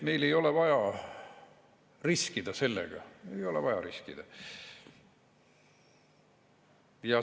Meil ei ole vaja sellega riskida, ei ole vaja riskida.